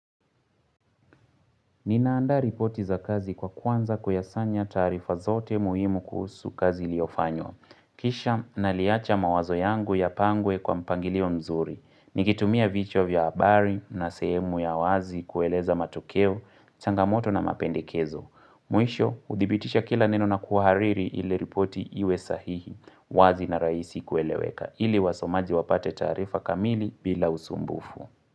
Ninaandaa ripoti za kazi kwa kwanza kuyasanya taarifa zote muhimu kuhusu kazi iliyofanywa. Kisha naliacha mawazo yangu yapangwe kwa mpangilio mzuri. Nikitumia vichwa vya habari na sehemu ya wazi kueleza matokeo, changamoto na mapendekezo. Mwisho, hudhibitisha kila neno na kuhariri ili ripoti iwe sahihi, wazi na rahisi kueleweka. Ili wasomaji wapate taarifa kamili bila usumbufu.